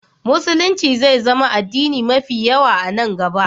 Musulunci zai zama addini mafi yawa a nan gaba.